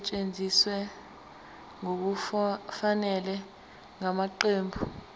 esetshenziswe ngokungafanele ngamaqembu